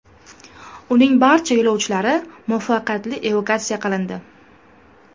Uning barcha yo‘lovchilari muvaffaqiyatli evakuatsiya qilindi.